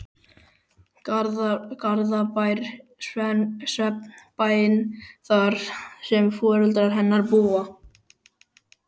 Garðabæ, svefnbæinn þar sem foreldrar hennar búa.